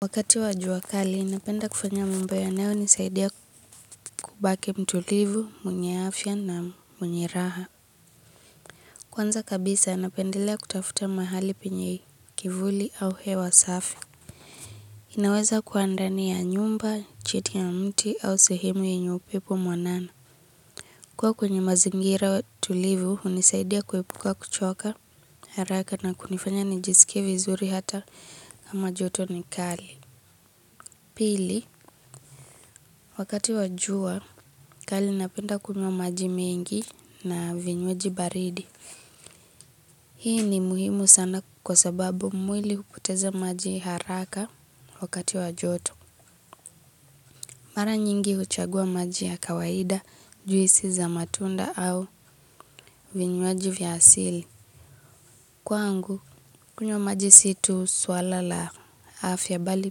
Wakati wa jua kali napenda kufanya mambo yanayonisaidia kubaki mtulivu, mwenye afya na mwenye raha. Kwanza kabisa napendelea kutafuta mahali penye kivuli au hewa safi. Inaweza kuwa ndani ya nyumba, chini ya mti au sehemu yenye upepo mwanana. Kuwa kwenye mazingira tulivu hunisaidia kuepuka kuchoka haraka na kunifanya nijisikia vizuri hata kama joto ni kali. Pili, wakati wa jua kali napenda kunywa maji mengi na vinywaji baridi. Hii ni muhimu sana kwa sababu mwili hupoteza maji haraka wakati wa joto. Mara nyingi huchagua maji ya kawaida, juisi za matunda au vinywaji vya asili. Kwangu, kunywa maji si tu swala la afya bali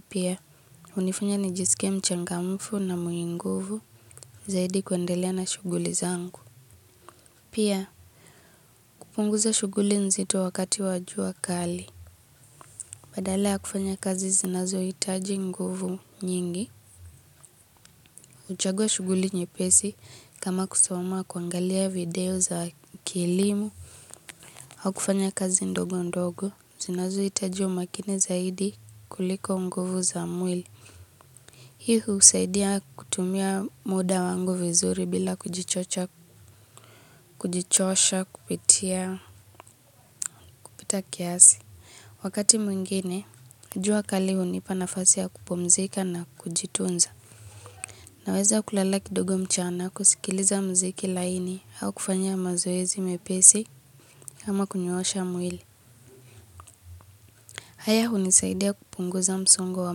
pia, hunifunya nijisike mchangamufu na mwenye nguvu zaidi kuendelea na shughuli zangu. Pia, kupunguza shughuli nzito wakati wa jua kali. Badala ya kufanya kazi zinazohitaji nguvu nyingi huchagua shughuli nyepesi kama kusoma kuangalia video za kielimu. Au kufanya kazi ndogo ndogo. Zinazohitaji umakini zaidi kuliko nguvu za mwili. Hii husaidia kutumia muda wangu vizuri bila kujichosha kupita kiasi. Wakati mwingine, jua kali hunipa nafasi ya kupumzika na kujitunza. Naweza kulala kidogo mchana kusikiliza mziki laini au kufanya mazoezi mepesi ama kunyoosha mwili. Haya hunisaidia kupunguza msongo wa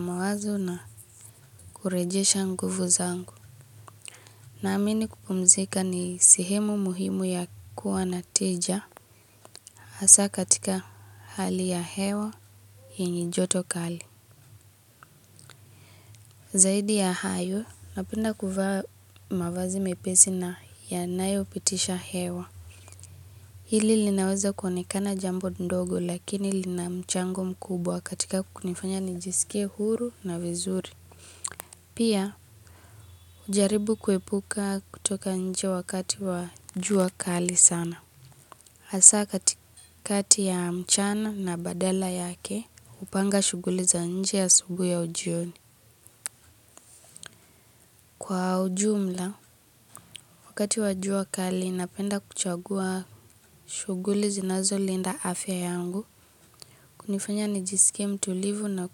mawazo na kurejesha nguvu zangu. Naamini kupumzika ni sehemu muhimu ya kuwa na tija hasaa katika hali ya hewa yenye joto kali. Zaidi ya hayo, napenda kuvaa mavazi mepesi na yanayopitisha hewa. Hili linaweza kuonekana jambo ndogo lakini lina mchango mkubwa katika kunifanya nijisike huru na vizuri. Pia, hujaribu kuepuka kutoka nje wakati wa jua kali sana. Hasaa kati kati ya mchana na badala yake, hupanga shughuli za nje asubuhi jioni. Kwa ujumla, wakati wa jua kali inapenda kuchagua shughuli zinazolinda afya yangu, kunifanya nijisikie mtulivu na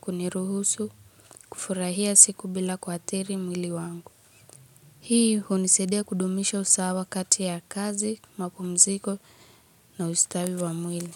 kuniruhusu kufurahia siku bila kuathiri mwili wangu. Hii hunisaidia kudumisha usawa kati ya kazi, mapumziko na ustawi wa mwili.